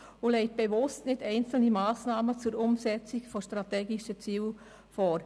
Sie legt bewusst nicht einzelne Massnahmen zur Umsetzung der strategischen Ziele vor.